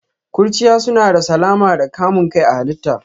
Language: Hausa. Ƙurchiya suna da salama da kamun kai a halitta.